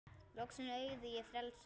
Loksins eygði ég frelsi.